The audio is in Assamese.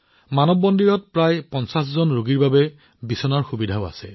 মানৱ মন্দিৰত প্ৰায় ৫০ জন ৰোগীৰ বাবে বিচনাৰ সুবিধাও আছে